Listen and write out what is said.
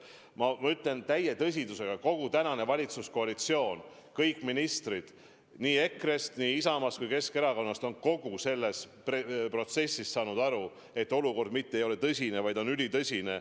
Ma ütlen täie tõsidusega: kogu tänane valitsuskoalitsioon, kõik ministrid nii EKRE-st, nii Isamaast kui Keskerakonnast on kogu selles protsessis saanud aru, et olukord mitte ei ole tõsine, vaid on ülitõsine.